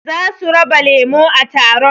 Zasu raba lemo a taron